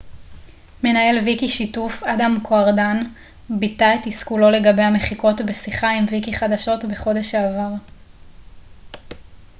מנהל ויקישיתוף אדם קוארדן ביטא את תסכולו לגבי המחיקות בשיחה עם ויקיחדשות בחודש שעבר